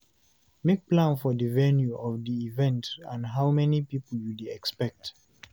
make plan for di venue of di event and how many pipo you dey expect